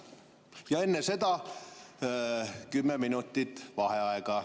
Ja enne seda kümme minutit vaheaega.